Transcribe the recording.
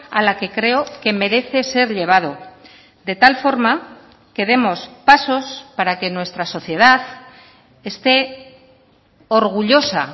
a la que creo que merece ser llevado de tal forma que demos pasos para que nuestra sociedad esté orgullosa